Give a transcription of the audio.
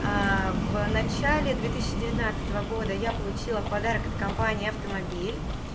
в начале две тысячи девятнадцатого года я получила в подарок от компании автомобиль